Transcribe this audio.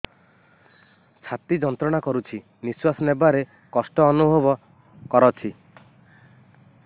ଛାତି ଯନ୍ତ୍ରଣା କରୁଛି ନିଶ୍ୱାସ ନେବାରେ କଷ୍ଟ ଅନୁଭବ କରୁଛି